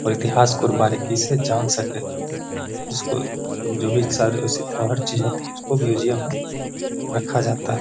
और इतिहास को और बारीकी से जान सके जिसको जो भी चीजे होती है उसको म्यूजियम में रखा जाता है।